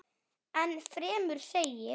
Enn fremur segir